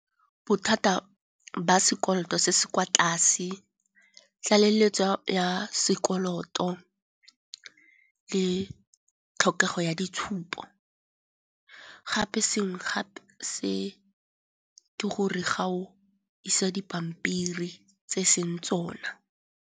Bothata ba sekoloto se se kwa tlase, tlaleletso ya sekoloto le tlhokego ya ditshupo. Gape sengwe gape se ke gore ga o isa dipampiri tse e seng tsona.